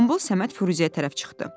Qombul Səməd Firuzəyə tərəf çıxdı.